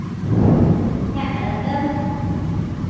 ક્યાં આગળ અમદાવાદ?